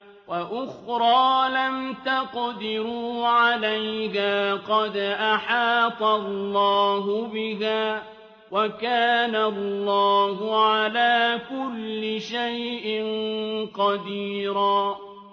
وَأُخْرَىٰ لَمْ تَقْدِرُوا عَلَيْهَا قَدْ أَحَاطَ اللَّهُ بِهَا ۚ وَكَانَ اللَّهُ عَلَىٰ كُلِّ شَيْءٍ قَدِيرًا